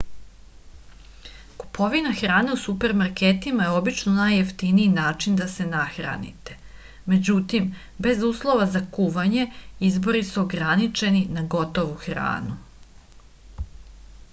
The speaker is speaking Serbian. kupovina hrane u supermarketima je obično najjeftiniji način da se nahranite međutim bez uslova za kuvanje izbori su ograničeni na gotovu hranu